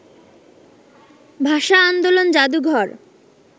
ভাষা-আন্দোলন জাদুঘর